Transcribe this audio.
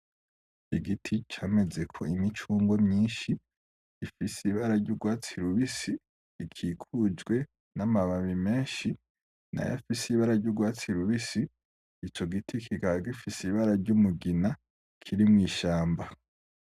Igiti camezeko imicungwe myinshi, gifise ibara ry'urwatsi rubisi, rikikujwe n'amababi menshi n'ayafise ibara ry'urwatsi rubisi. Ico giti kikaba gifise ibara ry'umugina, kiri mw'ishamba.